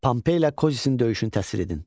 Pompeylə Kozisin döyüşünü təsir edin.